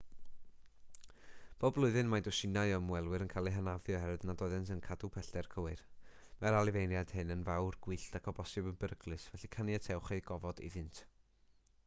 bob blwyddyn mae dwsinau o ymwelwyr yn cael eu hanafu oherwydd nad oeddent yn cadw pellter cywir mae'r anifeiliaid hyn yn fawr gwyllt ac o bosibl yn beryglus felly caniatewch eu gofod iddynt